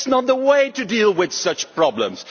That is not the way to deal with such problems!